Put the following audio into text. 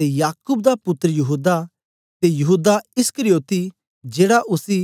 ते याकूब दा पुत्तर यहूदा ते यहूदा इस्करियोती जेड़ा उसी